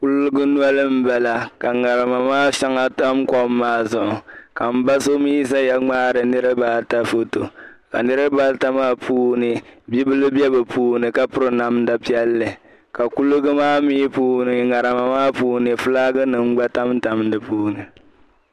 Kuliga noli m-bala ka ŋarima maa shɛŋa tam kom maa zuɣu ka m ba so mi zaya ŋmaari niriba ata foto ka niriba maa bibila be bɛ puuni ka piri namda piɛlli ka kuliga maa mi puuni ŋarima maa puuni fulaakinima gba tamtam di puuni.